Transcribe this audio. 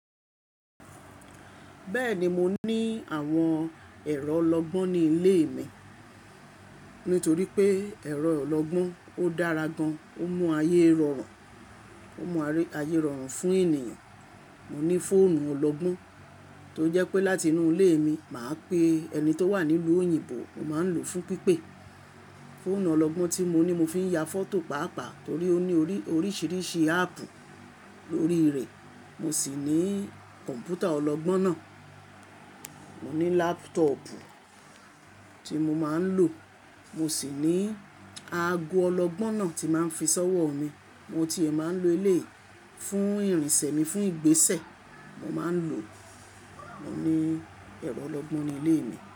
Bẹ́ẹ̀ni mo ní àwọn ẹ̀rọ ọlọgbọ́n ní ilé mi. Nítorí pé ẹ̀rọ ọlọgbọ́n ó dára gan, ó mú ayé rọrùn, ó mú ayé rọrùn fún ènìyàn. Mo ní fóònù ọlọgbọ́n tó jẹ́ pé láti inú ilé mi, màá pe ẹni tó wà níluu òyìnbó, mo máa ń lò ó fún pípé. Fóònù ọlọgbọ́n tí mo ní mo fi ń ya fọ́tò pàápàá torí ó ní oríṣiríṣi áàpù lórí rẹ̀. Mo sì ní kọ̀ǹpútà ọlọgbọ́n náà. Mo ní láptọọ̀pù tí mo máa ń lò. Mo sì ní aago ọlọgbọ́n náà tí màá ń fi ṣọ́wọ́ mi. Mo ti è máa ń lo eleyii fún ìrìnsẹ̀ mi, fún ìgbésẹ̀ mo máa ń lò o. Mo ní ẹ̀rọ ọlọgbọ́n ní ilé mi.